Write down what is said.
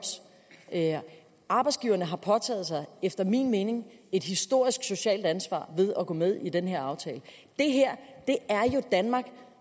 arbejdsgiverne har efter min mening påtaget et historisk socialt ansvar ved at gå med i den her aftale det her er jo danmark